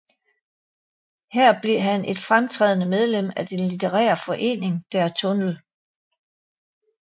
Her blev han et fremtrædende medlem af den litterære forening Der Tunnel